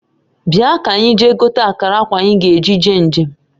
Bia kanyi jee gote akara akwa anyi ga-eji jee njem